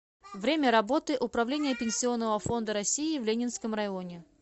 время работы управление пенсионного фонда россии в ленинском районе